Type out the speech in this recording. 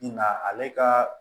Nga ale ka